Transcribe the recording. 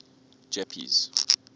jeppes